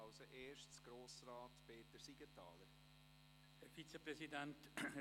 Als erster spricht Grossrat Peter Siegenthaler.